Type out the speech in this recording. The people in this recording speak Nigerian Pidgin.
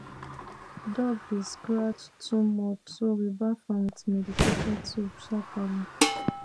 dog dey scratch too much so we baff am with medicated soap sharperly